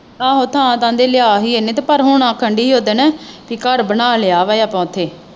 ਆਹੋ ਥਾਂ ਤਾਂ ਲਹਿੰਦੇ ਲਿਆ ਸੀ ਇਹਨੇ ਪਰ ਹੁਣ ਆਖਣ ਡਈ ਸੀ ਓਦਣ ਵੀ ਘਰ ਬਣਾ ਲਿਆ ਵਾ ਆਪਾਂ ਓਥੇ।